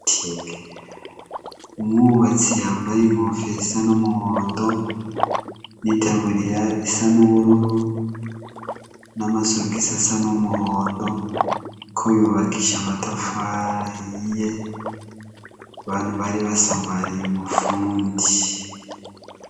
Umwubatsi yambaye inkofero isa numuhondo nitaburiya isa nubururu namasogisi asa numuhondo ko yubakisha amatafari ahiye abantu bari basamariye umufundi